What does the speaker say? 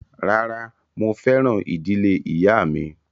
Rárá, mo fẹ́ràn ìdílé ìyáà mi